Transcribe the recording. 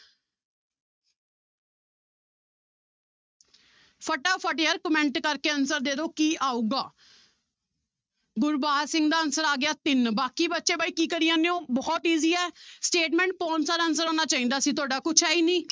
ਫਟਾਫਟ ਯਾਰ comment ਕਰਕੇ answer ਦੇ ਦਓ ਕੀ ਆਊਗਾ ਗੁਰਬਾਜ ਸਿੰਘ ਦਾ answer ਆ ਗਿਆ ਤਿੰਨ ਬਾਕੀ ਬੱਚੇ ਬਾਈ ਕੀ ਕਰੀ ਜਾਂਦੇ ਹੋ ਬਹੁਤ easy ਹੈ statement ਪਾਉਣ ਸਾਰ answer ਆਉਣਾ ਚਾਹੀਦਾ ਸੀ ਤੁਹਾਡਾ ਕੁਛ ਹੈ ਨੀ